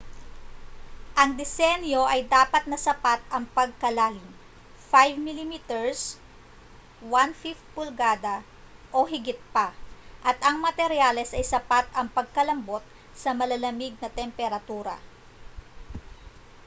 ang disenyo ay dapat na sapat ang pagkalalim 5 mm 1/5 pulgada o higit pa at ang materyales ay sapat ang pagkalambot sa malalamig na temperatura